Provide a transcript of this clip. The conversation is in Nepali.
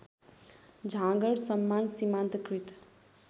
झाँगड सम्मान सीमान्तकृत